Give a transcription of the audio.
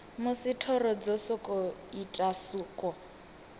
musi thoro dzo ita suko